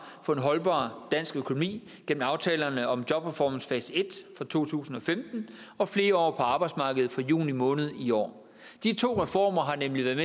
for en holdbar dansk økonomi gennem aftalerne om jobreformens fase i fra to tusind og femten og flere år på arbejdsmarkedet fra juni måned i år de to reformer har nemlig været